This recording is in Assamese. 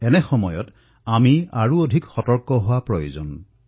এই অৱস্থাত আমি অধিক সতৰ্ক হৈ থকাটো আৱশ্যক হৈছে